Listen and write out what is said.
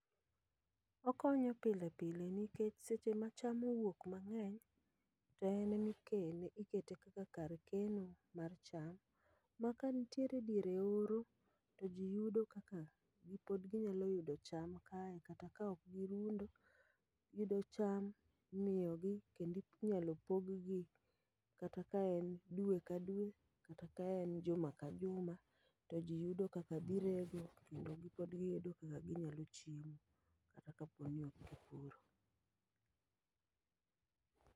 Okonyo pile pile nikech seche ma cham owuok mang'eny, to en emikele ikete kaka kar ekeno mar cham. Ma kanitiere diere oro, to ji yudo kaka gi pod ginyalo yudo cham kae kata ka ok girundo. Giyudo cham, imiyogi kendi nyalo pog gi kata ka en dwe ka dwe, kata ka en juma ka juma. To ji yudo kaka dhi rego, mondo pod giyudo kaka ginyalo chiemo kata kaponi ok gipuro.